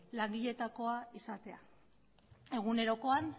langiletakoa izatea egunerokoan